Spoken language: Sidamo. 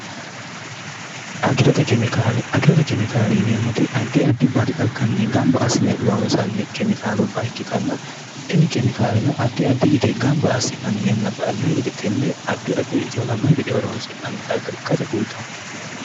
agirote kemikaali ineemmoti addi addi baati xagganni gamba asine loonsanni kemikaalubba ikkitanna tini kemikaalino addi addi yite gamba assi'nanni yanna ba anno higeti tenne addi addiri itihunanno higede horoonsi'nanni xagga ikkate kultanno